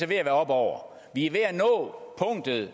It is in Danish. være op over vi er ved at nå punktet